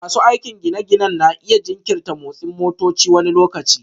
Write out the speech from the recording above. Masu aikin gine-ginen na iya jinkirta motsin motoci wani lokaci